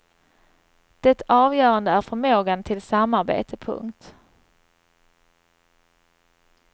Det avgörande är förmågan till samarbete. punkt